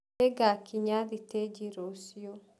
Nĩngakinya thitĩji rũciũ.